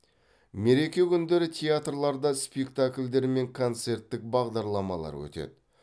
мереке күндері театрларда спектакльдер мен концерттік бағдарламалар өтеді